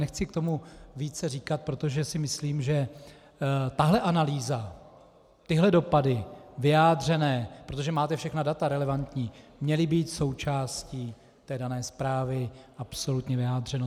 Nechci k tomu více říkat, protože si myslím, že tahle analýza, tyhle dopady vyjádřené - protože máte všechna data relevantní - měly být součástí té dané zprávy, absolutně vyjádřeno.